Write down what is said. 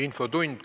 Infotund.